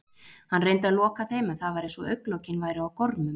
Hann reyndi að loka þeim en það var eins og augnlokin væru á gormum.